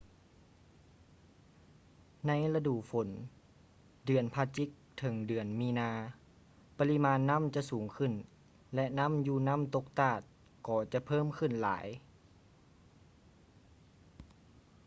ໃນລະດູຝົນ ເດືອນພະຈິກ ເຖິງ ເດືອນມີນາ ປະລິມານນໍ້າຈະສູງຂຶ້ນ ແລະ ນ້ຳຢູ່ນ້ຳຕົກຕາດກໍຈະເພີ່ມຂຶ້ນຫຼາຍ